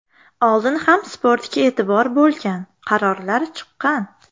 Oldin ham sportga e’tibor bo‘lgan, qarorlar chiqqan.